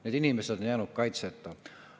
Need inimesed on jäänud kaitseta.